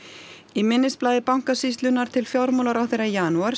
í minnisblaði Bankasýslunnar til fjármálaráðherra í janúar